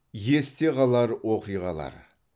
есте қалар оқиғалар